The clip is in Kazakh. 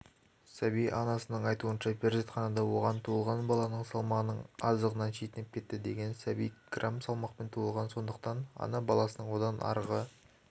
сәби анасының айтуынша перзентханада оған туылған баланың салмағының аздығынан шетінеп кетті деген сәби грамм салмақпен туылған сондықтан ана баласының одан арғы